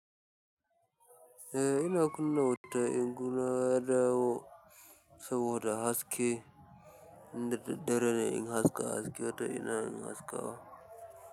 Eh ina kunna inna dawo saboda haske, in da daddare ne in haska haske ko ta ina in haskawa.